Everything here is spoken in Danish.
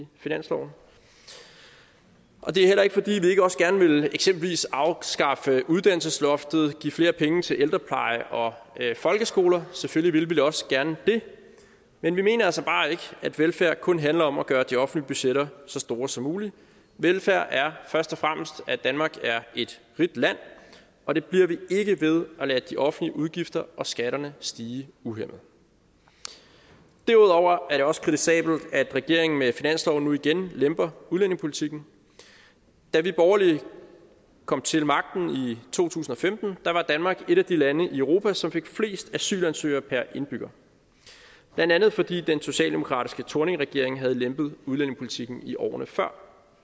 finansloven det er heller ikke fordi vi ikke også gerne eksempelvis ville afskaffe uddannelsesloftet give flere penge til ældrepleje og folkeskoler selvfølgelig ville vi også gerne det men vi mener altså bare ikke at velfærd kun handler om at gøre de offentlige budgetter så store som mulige velfærd er først og fremmest at danmark er et rigt land og det bliver vi ikke ved at lade de offentlige udgifter og skatterne stige uhæmmet derudover er det også kritisabelt at regeringen med finansloven nu igen lemper udlændingepolitikken da vi borgerlige kom til magten i to tusind og femten var danmark et af de lande i europa som fik flest asylansøgere per indbygger blandt andet fordi den socialdemokratiske thorning regering havde lempet udlændingepolitikken i årene før